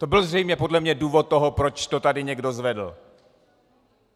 To byl zřejmě podle mě důvod toho, proč to tady někdo zvedl.